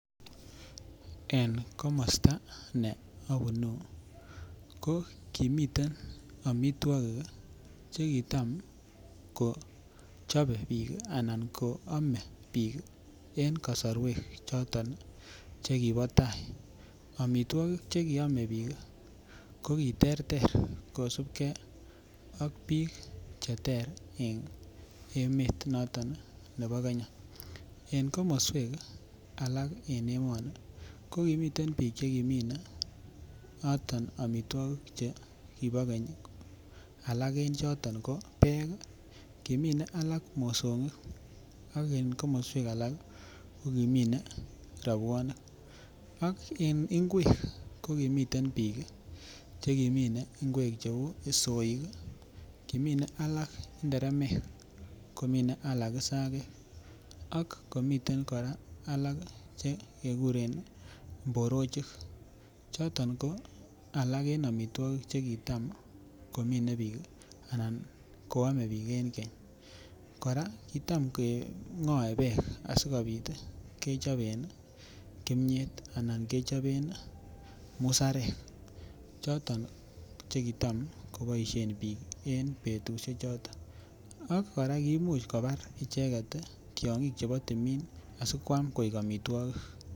En komosta ne obunu ko kimiten omitwokik ii che kitam kochope biik ana oome biik ii en kosorwek choton che kibo tai. omitwokik che kisome biik ii ko kiterter kosupgee ak biik che ter en emet noton nebo Kenya. En komoswek alak chebo emoni ko kimiten biik che kimine noton omitwokik che kibo keny. Alak en choton ko beek ii, kimine alak mosogik ak en komoswek alak kokimine robwonik ak en ngwek ko kimiten biik che kimine ngwek che uu soik ii kimine alak nderemek ko kimine alak sagek ak komiten koraa alak che keguren mborochik choton ko alak en omitwokik che kitam komine biik anan koome biik en keny. Koraa kitam kengoe beek asikopit kechoben kimyet anan kechoben musarek choton che kitam koboishen biik en betushek choton. Ak koraa kimuch kobaa icheget tyogik chebo timin asi kwam koik omitwokik